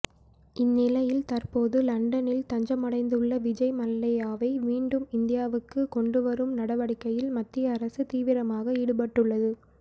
இந்நிலையில் தற்போது லண்டனில் தஞ்சமடைந்துள்ள விஜய் மல்லையாவை மீண்டும் இந்தியாவுக்கு கொண்டு வரும் நடவடிக்கையில் மத்திய அரசு தீவிரமாக ஈடுபட்டுள்ளது